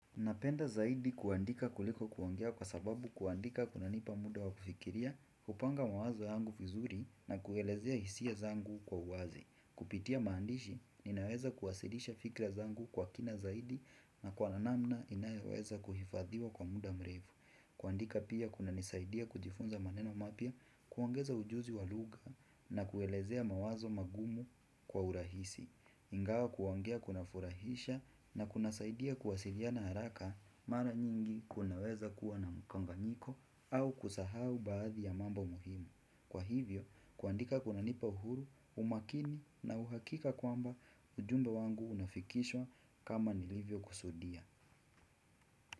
Napenda zaidi kuandika kuliko kuongea kwa sababu kuandika kuna nipa muda wa kufikiria, kupanga mawazo yangu vizuri na kuelezea hisia zangu kwa uwazi. Kupitia maandishi, ninaweza kuwasilisha fikra zangu kwa kina zaidi na kwa namna inayoweza kuhifadhiwa kwa muda mrefu. Kuandika pia kunanisaidia kujifunza maneno mapya, kuangeza ujuzi wa lugha na kuelezea mawazo magumu kwa urahisi. Ingawa kuongea kunafurahisha na kunasaidia kuwasiliana haraka mara nyingi kunaweza kuwa na mkanganyiko au kusahau baadhi ya mambo muhimu. Kwa hivyo, kuandika kunanipa uhuru, umakini na uhakika kwamba ujumbe wangu unafikishwa kama nilivyo kusudia.